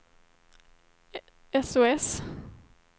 sos